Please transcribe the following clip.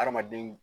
Hadamaden